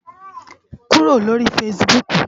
Kúró lóri fãsibúk